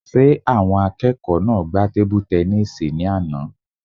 Ṣé àwọn akẹ́kọ̀ọ́ náà gbá tebu-tẹnísì ní àná?